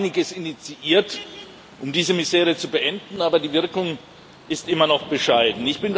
Wir haben einiges initiiert, um diese Misere zu beenden, aber die Wirkung ist immer noch bescheiden.